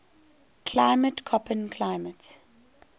climate koppen climate